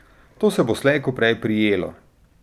To se bo slejkoprej prijelo.